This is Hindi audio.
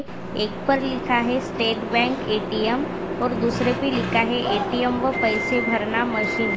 एक पर लिखा है स्टेट बैंक ए_टी_एम और दूसरे मे लिखा है ए _टी _एम व पैसे भरना मशीन --